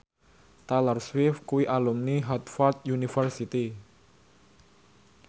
Taylor Swift kuwi alumni Harvard university